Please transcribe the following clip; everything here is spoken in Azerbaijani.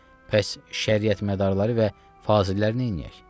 Bəs şəriət mədarları və fazillər neyləyək?